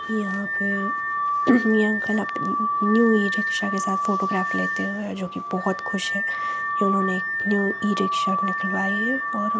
यहां पे यह अंकल अपने न्यू ई-रिक्शा के साथ फोटोग्राफ लेते हुए और जो कि बहुत खुश है ये उन्होंने एक न्यू ई-रिक्शा निकलवाइ है और --